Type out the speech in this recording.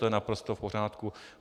To je naprosto v pořádku.